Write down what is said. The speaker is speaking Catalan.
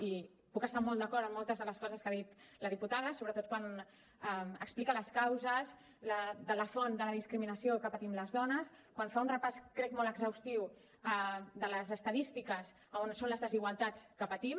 i puc estar molt d’acord en moltes de les coses que ha dit la diputada sobretot quan explica les causes de la font de la discriminació que patim les dones quan fa un repàs crec molt exhaustiu de les estadístiques a on són les desigualtats que patim